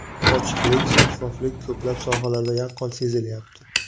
Ochiqlik, shaffoflik ko‘plab sohalarda yaqqol sezilayapti.